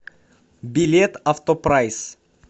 билет автопрайс